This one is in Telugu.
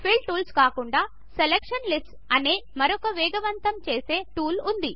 ఫిల్ టూల్స్ కాకుండా సెలక్షన్ లిస్ట్స్ అనే మరొక వేగవంతము చేసే టూల్ ఉంది